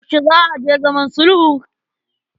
Yaushe za a je zaman sulhun?